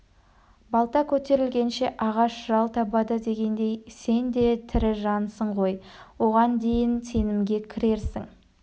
балта көтерілгенше ағаш жал табады дегендей сен де тірі жансың ғой оған дейін сенімге кірерсің